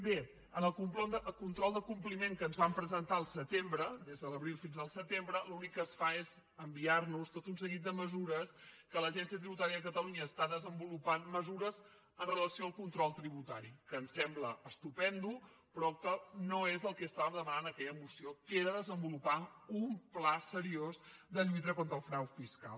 bé en el control del compliment que ens van presentar al setembre des de l’abril fins al setembre l’únic que es fa és enviar·nos tot un seguit de mesures que l’agència tributària de catalunya està desenvolupant mesures amb relació al control tribu·tari que ens sembla estupend però que no és el que estava demanant aquella moció que era desenvolupar un pla seriós de lluita contra el frau fiscal